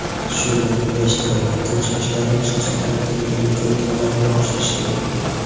shu bilan birga ishtirok etuvchi yoshlarning shu sohalardagi bilim ko‘nikmalarini oshirishdir.